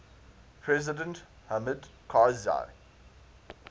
president hamid karzai